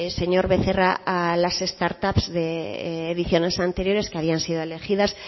señor becerra a las start ups de ediciones anteriores que habían sido elegidas